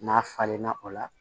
N'a falenna o la